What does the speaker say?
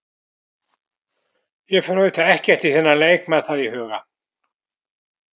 Ég fer auðvitað ekkert í þennan leik með það í huga.